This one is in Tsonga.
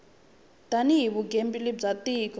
tani hi vugembuli bya tiko